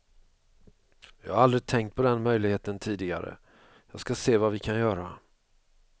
Jag har aldrig tänkt på den möjligheten tidigare, jag ska se vad vi kan göra.